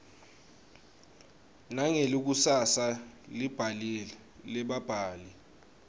nangelikusasa lebabhali